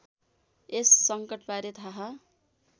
यस सङ्कटबारे थाहा